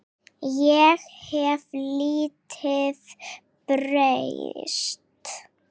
Ég hef lítið breyst.